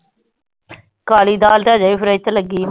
ਕਾਲੀ ਦਾਲ ਅਜੇ ਭੀ ਫ੍ਰੀਜ ਤੇ ਲਗੀ ਆ